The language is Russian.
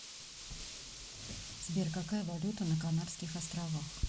сбер какая валюта на канарских островах